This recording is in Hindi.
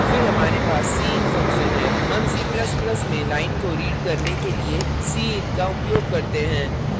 फिर हमारे पास cin function है हम c ++ में line को read करने के लिए cin का उपयोग करते हैं